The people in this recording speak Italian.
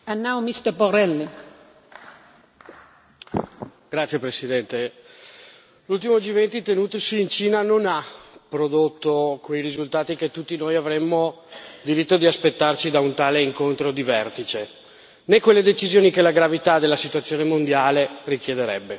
Signora Presidente, onorevoli colleghi, l'ultimo G20 tenutosi in Cina non ha prodotto quei risultati che tutti noi avremmo diritto di aspettarci da un tale incontro di vertice, né quelle decisioni che la gravità della situazione mondiale richiederebbe.